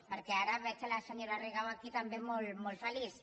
perquè ara veig a la senyora rigau aquí també molt feliç